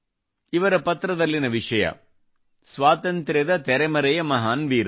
ಇವರ ಪತ್ರದಲ್ಲಿನ ವಿಷಯ ಸ್ವಾತಂತ್ರ್ಯದ ತೆರೆಮರೆಯ ಮಹಾನ್ ವೀರರು